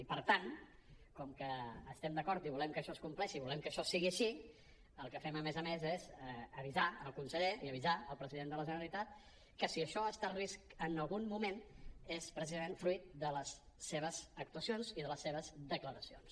i per tant com que hi estem d’acord i volem que això es compleixi i volem que això sigui així el que fem a més a més és avisar el conseller i avisar el president de la generalitat que si això ha estat en risc en algun moment és precisament fruit de les seves actuacions i de les seves declaracions